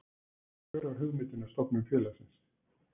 Hver var hugmyndin að stofnun félagsins?